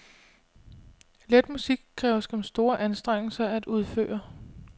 Let musik kræver skam store anstrengelser at udføre.